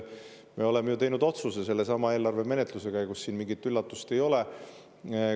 Me oleme ju teinud otsuse sellesama eelarve menetluse käigus, siin mingit üllatust ei ole.